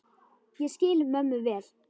Ég skil mömmu vel.